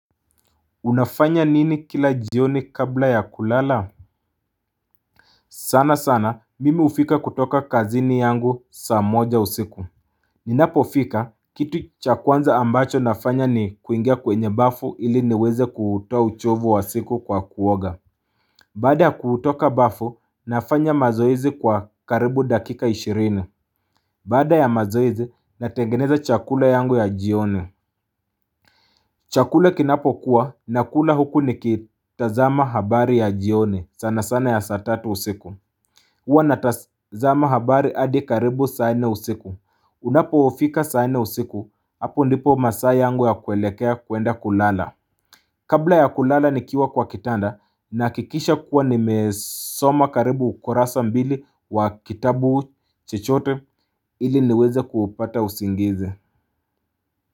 Unafanya nini kila jioni kabla ya kulala? Sana sana mimi hufika kutoka kazini yangu saa moja usiku. Ninapo fika kitu cha kwanza ambacho nafanya ni kuingia kwenye bafu ili niweze kuutoa uchovu wa siku kwa kuoga. Baada ya kutoka bafu nafanya mazoezi kwa karibu dakika ishirini. Baada ya mazoezi natengeneza chakula yangu ya jioni. Chakula kinapo kuwa na kula huku ni kitazama habari ya jioni sana sana ya saa tatu usiku. Huwa natazama habari hadi karibu saa nne usiku. Unapofika saa nne usiku hapo ndipo masaa yangu ya kuelekea kuenda kulala. Kabla ya kulala nikiwa kwa kitanda na hakikisha kuwa nimesoma karibu ukurasa mbili wa kitabu chochote ili niweze kuupata usingize.